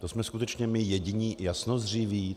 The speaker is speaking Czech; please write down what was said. To jsme skutečně my jediní jasnozřiví?